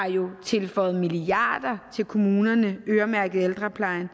tilføjet milliarder til kommunerne øremærket ældreplejen